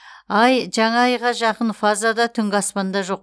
ай жаңа айға жақын фазада түнгі аспанда жоқ